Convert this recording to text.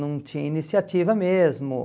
Não tinha iniciativa mesmo